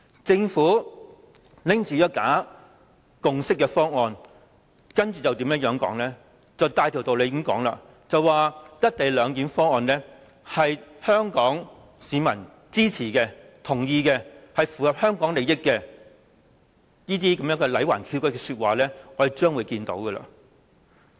政府持着這份假共識的方案，接着便可以大條道理地說，"一地兩檢"方案得到香港市民的支持和同意，符合香港利益等，這些歪曲事實的說話，我們將可聽得到。